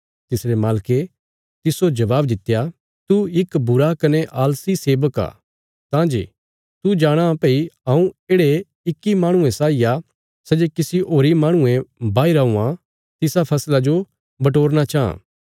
तिसरे मालके तिस्सो जबाब दित्या तू इक बुरा कने आलसी सेबक आ तां जे तू जाणाँ भई हऊँ येढ़े इक्की माहणुये साई आ सै जे किसी होरीं माहणुयें बाहीरा हुआं तिसा फसला जो बटोरना चांह